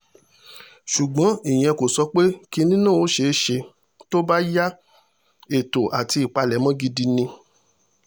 ṣùgbọ́n ìyẹn kò sọ pé kinní náà ò ṣeé ṣe tó bá ya ètò àti ìpalẹ̀mọ́ gidi ni